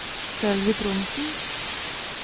Sølvi Trondsen